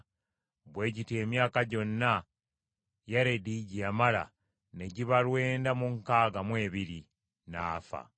Bwe gityo emyaka gyonna Yaredi gye yamala ne giba lwenda mu nkaaga mu ebiri, n’afa.